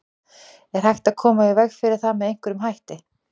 Er hægt að koma í veg fyrir það með einhverjum hætti?